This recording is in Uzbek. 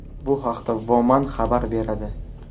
Bu haqda Woman xabar beradi .